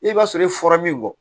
I b'a sɔrɔ i fɔra min kɔ